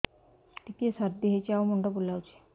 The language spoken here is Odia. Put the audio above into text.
ଟିକିଏ ସର୍ଦ୍ଦି ହେଇଚି ଆଉ ମୁଣ୍ଡ ବୁଲାଉଛି